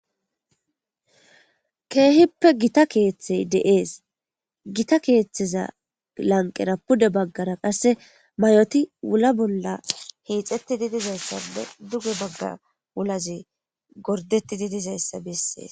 keehippe gita keeththey deees gita keeththeza lanqera pude baggara qasse may7oti wula bolla hiixetti di dizayssade duge bagga wulazi gordeti di dizayssa bessees